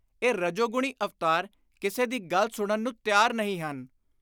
ਇਹ ਰਜੋਗੁਣੀ ਅਵਤਾਰ ਕਿਸੇ ਦੀ ਗੱਲ ਸੁਣਨ ਨੂੰ ਤਿਆਰ ਨਹੀਂ ਹਨ।